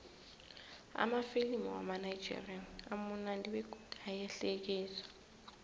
amafilimu wamanigerian amunandi begodu ayahlekisa